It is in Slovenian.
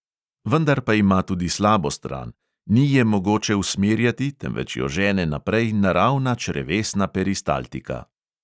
Vendar pa ima tudi slabo stran: ni je mogoče usmerjati, temveč jo žene naprej naravna črevesna peristaltika.